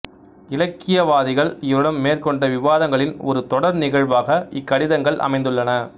இலக்கியவாதிகள் இவரிடம் மேற்கொண்ட விவாதங்களின் ஒரு தொடர்நிகழ்வாக இக்கடிதங்கள் அமைந்துள்ளன